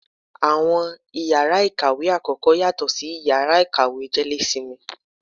Awọn ìyára ikáwe akọkọ, yatọ si ìyára ikáwe jelésímí.